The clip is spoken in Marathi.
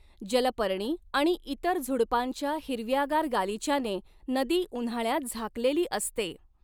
जलपर्णी आणि इतर झुडुपांच्या हिरव्यागार गालिच्याने नदी उन्हाळ्यात झाकलेली असते.